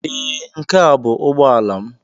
Ee, nke a bụ ụgbọ ala m.